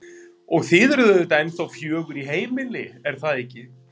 Og þið eruð auðvitað ennþá fjögur í heimili, er það ekki?